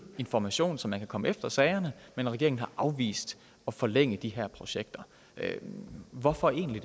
information så man kan komme efter sagerne men regeringen har afvist at forlænge de her projekter hvorfor egentlig